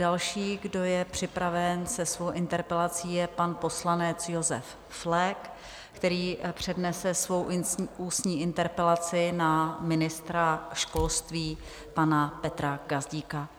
Další, kdo je připraven se svou interpelací, je pan poslanec Josef Flek, který přednese svou ústní interpelaci na ministra školství pana Petra Gazdíka.